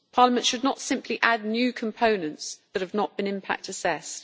Parliament should not simply add new components that have not been impact assessed.